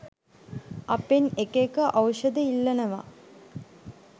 අපෙන් එක එක ඖෂධ ඉල්ලනවා.